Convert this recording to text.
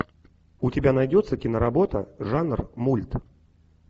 у тебя найдется киноработа жанр мульт